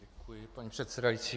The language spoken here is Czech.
Děkuji, paní předsedající.